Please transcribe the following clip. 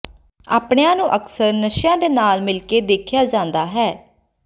apnoea ਨੂੰ ਅਕਸਰ ਨਸ਼ਿਆਂ ਦੇ ਨਾਲ ਮਿਲਕੇ ਦੇਖਿਆ ਜਾਂਦਾ ਹੈ